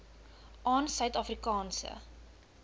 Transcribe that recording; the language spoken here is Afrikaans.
aan suid afrikaanse